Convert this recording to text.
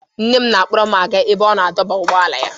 Nne m na-akpọrọ m aga n'ebe ọ na-adọba ụgbọala ya.